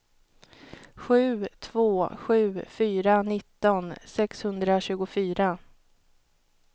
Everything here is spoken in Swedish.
sju två sju fyra nitton sexhundratjugofyra